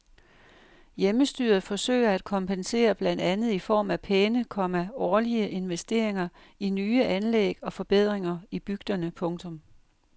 Hjemmestyret forsøger at kompensere blandt andet i form af pæne, komma årlige investeringer i nye anlæg og forbedringer i bygderne. punktum